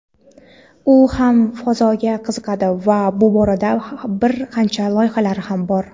u ham fazoga qiziqadi va bu borada bir qancha loyihalari bor.